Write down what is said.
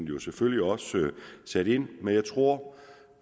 jo selvfølgelig også sat ind jeg tror